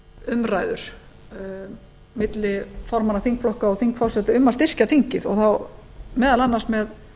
umræður milli formanna þingflokka og þingforseta um að styrkja þingið og þá meðal annars með